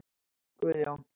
Guðjón